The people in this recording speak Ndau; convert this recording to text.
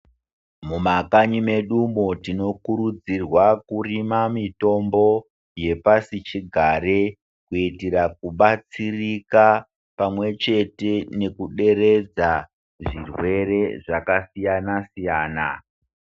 Mumakanyi mwedu umwo tinokurudzirwa kurima mitombo yepasi chigare kuitira kubatsirika pamwe chete nekuderedza zvirwere zvakasiyana siyana.